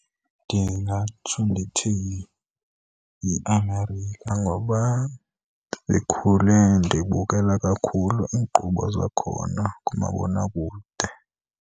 Ndingatsho ndithi yiAmerica, ngoba ndikhule ndibukela kakhulu iinkqubo zakhona kumabonakude.